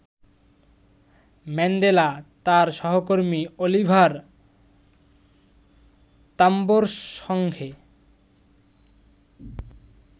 Mandela তার সহকর্মী Oliver তাম্বোর সঙ্গে